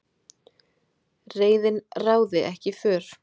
Reiðin ráði ekki för